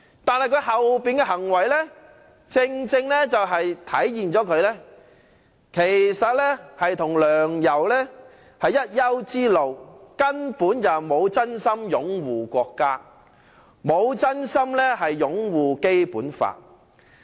但他之後的行為正正體現出他與梁、游是一丘之貉，根本不是真心擁護國家和《基本法》。